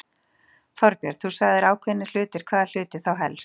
Þorbjörn: Þú sagðir ákveðnir hlutir, hvaða hluti þá helst?